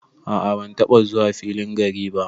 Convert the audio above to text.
A'a ban taba zuwa filin gari ba.